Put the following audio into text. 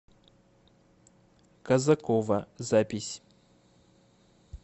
казакова запись